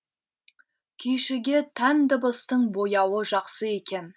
күйшіге тән дыбыстың бояуы жақсы екен